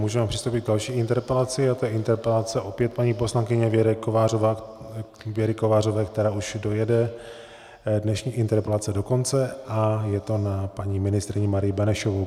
Můžeme přistoupit k další interpelaci a je to interpelace opět paní poslankyně Věry Kovářové, která už dojede dnešní interpelace do konce, a je to na paní ministryni Marii Benešovou.